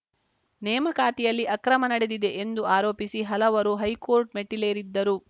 ನೇಮಕಾತಿಯಲ್ಲಿ ಅಕ್ರಮ ನಡೆದಿದೆ ಎಂದು ಆರೋಪಿಸಿ ಹಲವರು ಹೈಕೋರ್ಟ್‌ ಮೆಟ್ಟಿಲೇರಿದ್ದರು